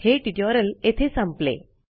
हे ट्युटोरियल येथे संपले